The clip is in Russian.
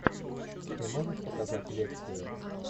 ты можешь показать лекцию